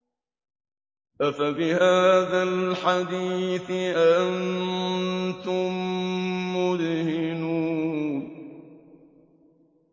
أَفَبِهَٰذَا الْحَدِيثِ أَنتُم مُّدْهِنُونَ